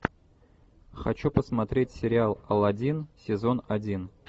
хочу посмотреть сериал аладдин сезон один